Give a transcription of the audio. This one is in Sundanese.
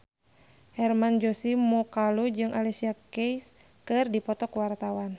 Hermann Josis Mokalu jeung Alicia Keys keur dipoto ku wartawan